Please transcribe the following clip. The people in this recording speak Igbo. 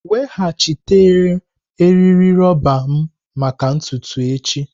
Weghachite eriri roba m maka ntutu echi!